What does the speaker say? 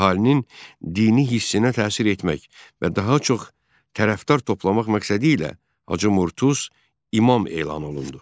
Əhalinin dini hissinə təsir etmək və daha çox tərəfdar toplamaq məqsədi ilə Hacı Murtuz İmam elan olundu.